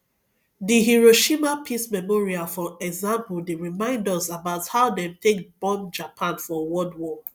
di hiroshima peace memorial for example dey remind us about how dem take bomb japan for world war